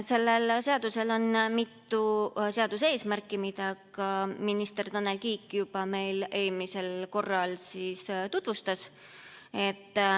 Sellel seadusel on mitu eesmärki, mida minister Tanel Kiik meile eelmisel korral juba tutvustas.